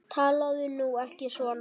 Talaðu nú ekki svona!